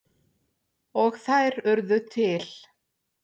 Og þær urðu til.